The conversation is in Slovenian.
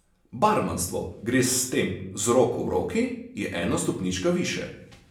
Barmanstvo gre s tem z roko v roki, je ena stopnička višje.